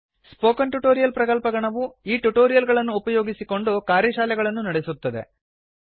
spoken tutorial ಪ್ರಕಲ್ಪಗಣವು ಈ tutorial ಗಳನ್ನು ಉಪಯೋಗಿಸಿಕೊಂಡು ಕಾರ್ಯಶಾಲೆಗಳನ್ನು ನಡೆಸುತ್ತದೆ